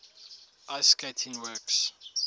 ice skating works